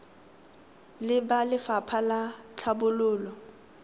le ba lefapha la tlhabololo